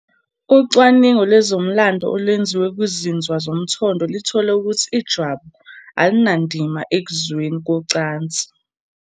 Ucwaningo lwezomlando olwenziwe kuzinzwa zomthondo lithole ukuthi ijwabu "alinandima ekuzweleni ngokocansi".